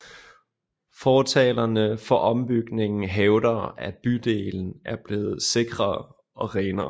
Fortalere for ombygningen hævder at bydelen er blevet sikrere og renere